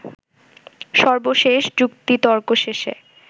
সর্বশেষ যুক্তিতর্ক শেষে